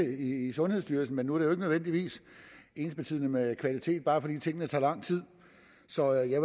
i sundhedsstyrelsen men nu er nødvendigvis ensbetydende med kvalitet bare fordi tingene tager lang tid så jeg